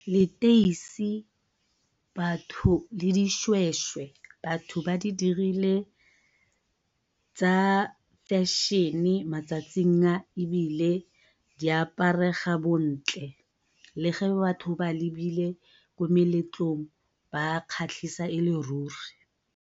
Leteisi le dishweshwe batho ba di dirile tsa fashion-e matsatsing a, ebile di aparega bontle le ge batho ba lebile ko meletlong ba kgatlhisa e le ruri.